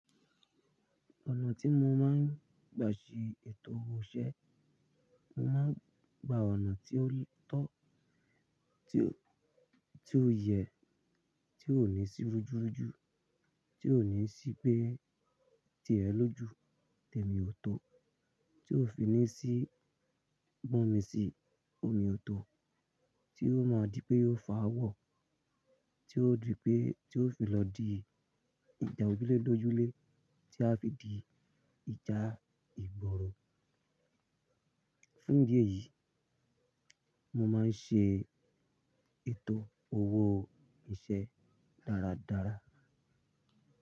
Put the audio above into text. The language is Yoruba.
Ọ̀nà tí mo máa ń gbà ṣe ètò owó iṣẹ́, mo máa ń gba ọ̀nà tí ó tọ́, tí ó, tí ó yẹ, tí ó ní sí rújú rújú, tí ó ní sí pé tirẹ ló jú, tèmi ò tó, tí ó fi ní sí bọ̀ mí sí omi ò tó, tí ó máa di pé ó fà á wọ̀, tí ó di pé, tí ó fi lọ di ìjà ojúlélójúlé, tí a fi di ìjà ìgbòrò. Fún ìdí èyí, mo máa ń ṣe ètò owó iṣẹ́ dáradára.